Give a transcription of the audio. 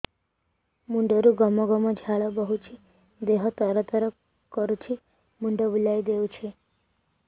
ମୁଣ୍ଡରୁ ଗମ ଗମ ଝାଳ ବହୁଛି ଦିହ ତର ତର କରୁଛି ମୁଣ୍ଡ ବୁଲାଇ ଦେଉଛି